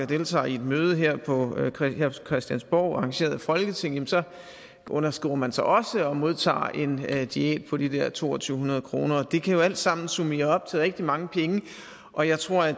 deltager i et møde her på christiansborg arrangeret af folketinget så underskriver man sig også og modtager en diæt på de der to tusind to hundrede kroner det kan jo alt sammen summere op til rigtig mange penge og jeg tror at